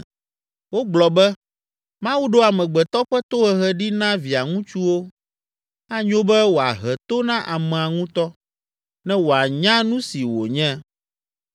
Wogblɔ be, ‘Mawu ɖo amegbetɔ ƒe tohehe ɖi na via ŋutsuwo.’ Anyo be wòahe to na amea ŋutɔ, ne wòanya nu si wònye!